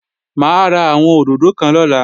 Mà á ra àwọn òdòdó kan lọ́la